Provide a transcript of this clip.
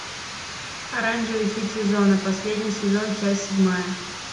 оранжевый хит сезона последний сезон часть седьмая